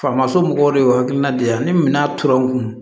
Faamaso mɔgɔw de y'o hakilina di yan ni minan tora n kun